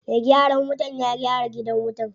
Me gyaran wutan ya gyara gidan wutan.